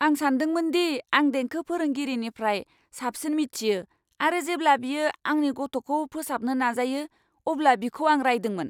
आं सानदोंमोनदि आं देंखो फोरोंगिरिनिफ्राय साबसिन मिथियो आरो जेब्ला बियो आंनि गथ'खौ फोसाबनो नाजायो अब्ला बिखौ आं रायदोंमोन।